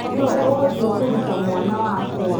Nũũ ũgũthiĩ kũruta mwana wakwa?